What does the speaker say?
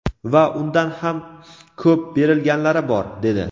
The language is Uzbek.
va undan ham ko‘p berilganlari bor" dedi".